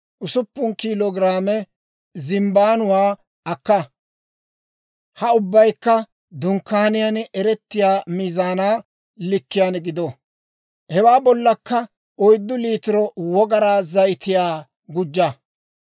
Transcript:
usuppun kiilo giraame zimbbaanuwaa akka. Ha ubbaykka Dunkkaaniyaan eretiyaa miizaanaa likkiyaan gido. Hewaa bollakka oyddu liitiro Wogaraa zayitiyaa gujja.